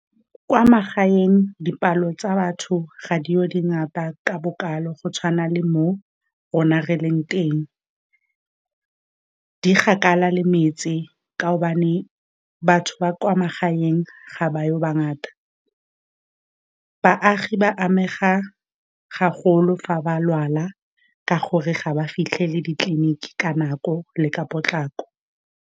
Kwa magaeng, dipalo tsa batho ga di yo dingata ka bokalo, go tshwana le mo rona re leng teng, di kgakala le metse ka gobane batho ba kwa magaeng ga ba yo bangata. Baagi ba amega haholo fa ba lwala ka gore ga ba fitlhele ditleliniki ka nako le ka potlako.